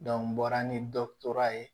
n bɔra ni dɔ tora ye